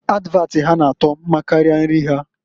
Advat ha na-ato mkarịa nri ha.